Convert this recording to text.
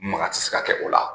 Maka tɛ se ka kɛ o la.